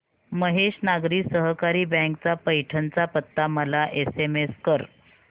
महेश नागरी सहकारी बँक चा पैठण चा पत्ता मला एसएमएस कर